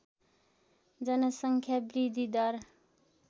जनसङ्ख्या वृद्धि दर